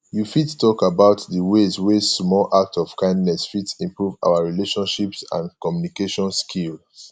you fit talk about di ways wey small acts of kindness fit improve our relationships and communication skills